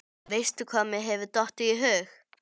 Veistu hvað mér hefur dottið í hug?